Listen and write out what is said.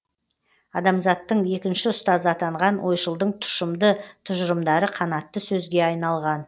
адамзаттың екінші ұстазы атанған ойшылдың тұшымды тұжырымдары қанатты сөзге айналған